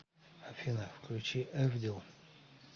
афина включи эвдил